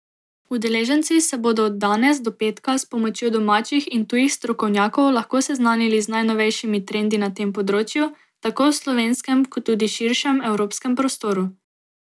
Udeleženci se bodo od danes do petka s pomočjo domačih in tujih strokovnjakov lahko seznanili z najnovejšimi trendi na tem področju, tako v slovenskem, kot tudi širšem, evropskem prostoru.